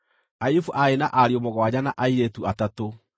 Ayubu aarĩ na ariũ mũgwanja na airĩtu atatũ,